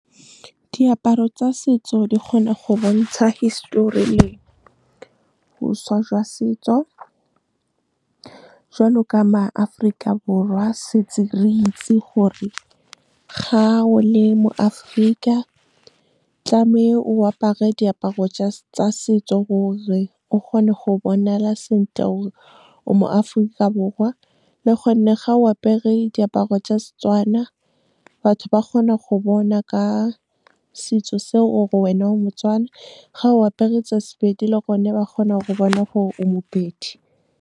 Diaparo tsa setso di kgona go bontsha hisitori le boswa jwa setso. Jwalo ka maAforika Borwa setse re itse gore, ga o le moAforika o apare diaparo tsa setso, gore o kgone go bonala sentle gore o moAforika Borwa. Le gone ga o apere diaparo tsa Setswana, batho ba kgona go bona ka setso seo gore wena o moTswana, ga o apere kgotsa Sepedi le gone ba kgona go bona gore o moPedi. Diaparo tsa setso di kgona go bontsha hisitori le boswa jwa setso. Jwalo ka maAforika Borwa setse re itse gore, ga o le moAforika o apare diaparo tsa setso, gore o kgone go bonala sentle gore o moAforika Borwa. Le gone ga o apere diaparo tsa Setswana, batho ba kgona go bona ka setso seo gore wena o moTswana, ga o apere kgotsa Sepedi le gone ba kgona go bona gore o moPedi.